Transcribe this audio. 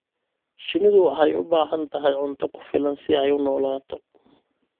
Shinnidu waxay u baahan tahay cunto ku filan si ay u noolaato.